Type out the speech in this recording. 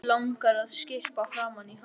Langar að skyrpa framan í hann.